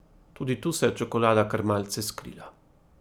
Tudi tu se je čokolada kar malce skrila.